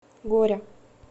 горя